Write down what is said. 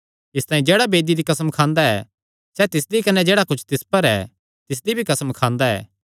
इसतांई जेह्ड़ा वेदी दी कसम खांदा ऐ सैह़ तिसदी कने जेह्ड़ा कुच्छ तिस पर ऐ तिसदी भी कसम खांदा ऐ